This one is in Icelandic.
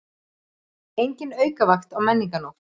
Engin aukavakt á Menningarnótt